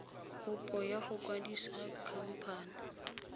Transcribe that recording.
kopo ya go kwadisa khamphane